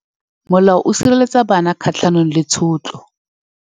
Molao o sireletsa bana kgatlhanong le tshotlo.